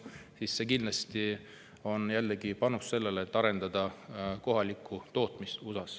See on kindlasti jällegi panus kohaliku tootmise arendamisele USA-s.